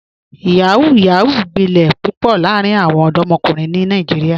Yahoo yahoo gbilẹ̀ pupọ̀ laarin awọn ọdọmọkunrin ni Nàìjíríà.